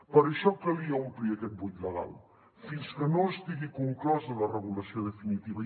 per això calia omplir aquest buit legal fins que no estigui conclosa la regulació definitiva